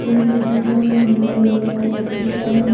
एक दुकान नजर आ रही हैं दुकान मे--